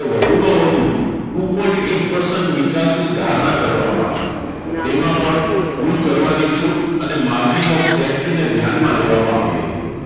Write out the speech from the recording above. તો વધુમાં વધુ two point eight percent વિકાસની ધારણા કરવામાં આવી. તેમાં પણ ભૂલ કરવાની છૂટ અને margin of safety ને ધ્યાનમાં લેવામાં આવી હતી.